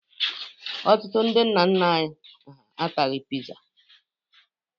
Ọtụtụ ndị nna nna anyị ha ataghị Piza.